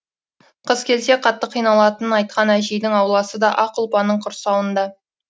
қыс келсе қатты қиналатынын айтқан әжейдің ауласы да ақ ұлпаның құрсауында